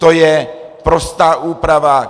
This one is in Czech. To je prostá úprava.